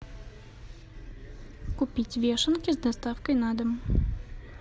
купить вешенки с доставкой на дом